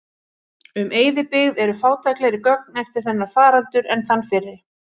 Um eyðibyggð eru fátæklegri gögn eftir þennan faraldur en þann fyrri.